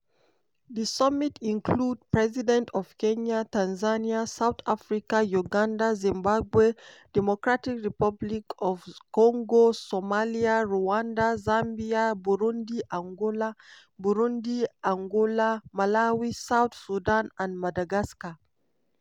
di summit include president of kenya tanzania south africa uganda zimbabwe drc somalia rwanda zambia burundi angola burundi angola malawi south sudan and madagascar.